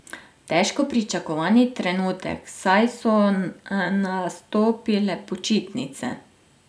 Težko pričakovani trenutek, saj so nastopile počitnice.